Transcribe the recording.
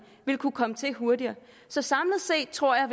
vil kunne komme til hurtigere så samlet set tror jeg